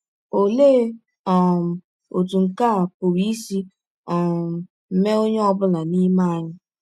Ọlee um ọtụ nke a pụrụ isi um mee ọnye ọ bụla n’ime anyị?